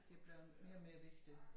Det bliver mere og mere vigtigt